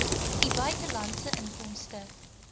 u buitelandse inkomste